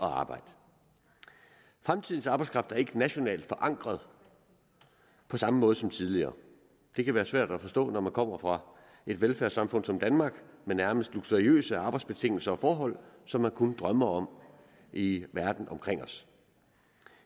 at arbejde fremtidens arbejdskraft er ikke nationalt forankret på samme måde som tidligere det kan være svært at forstå når man kommer fra et velfærdssamfund som danmark med nærmest luksuriøse arbejdsbetingelser og forhold som man kun drømmer om i verden omkring os